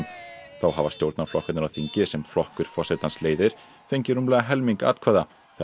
þá hafa stjórnarflokkarnir á þingi sem flokkur forsetans leiðir fengið rúmlega helming atkvæða þegar